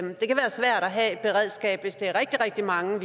have et beredskab hvis det er rigtig rigtig mange